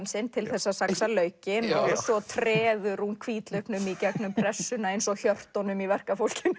sinn til þess að saxa laukinn og svo treður hún hvítlauknum í gegnum pressuna eins og hjörtunum í verkafólkinu